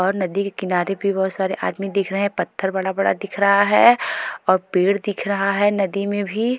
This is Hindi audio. और नदी के किनारे भी बहुत सारे आदमी दिख रहे हैं पत्थर बड़ा-बड़ा दिख रहा है और पेड़ दिख रहा है नदी में भी।